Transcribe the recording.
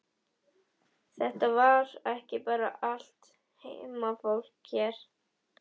Þetta er ekki bara allt heimafólk hér?